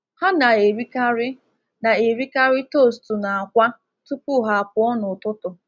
Ha na-erikarị na-erikarị toostu na akwa tupu ha apụọ n’ụtụtụ.